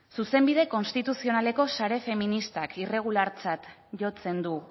zuzenbide konstituzionaleko sare feministak irregulartzat jotzen du